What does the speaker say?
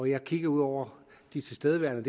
jeg kigger ud over de tilstedeværende